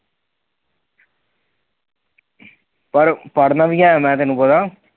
ਪਰ ਪੜਨਾ ਵੀ ਹੈ ਮੈਂ ਤੈਨੂੰ ਪਤਾ